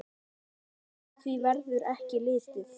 Framhjá því verður ekki litið.